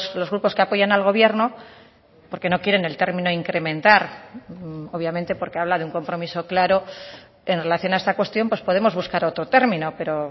los grupos que apoyan al gobierno porque no quieren el término incrementar obviamente porque habla de un compromiso claro en relación a esta cuestión pues podemos buscar otro término pero